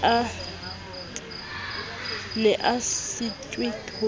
ne a sa sitwe ho